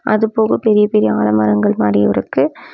அதுபோக பெரிய பெரிய ஆல மரங்கள் மாத்ரி இருக்கு.